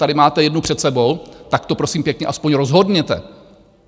Tady máte jednu před sebou, tak to prosím pěkně aspoň rozhodnete.